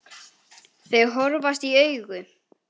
Þau horfast í augu.